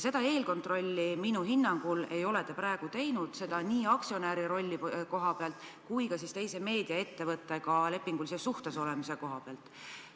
Seda eelkontrolli ei ole te minu hinnangul praegu teinud, seda nii aktsionäri rolli koha pealt kui ka teise meediaettevõttega lepingulises suhtes olemise koha pealt.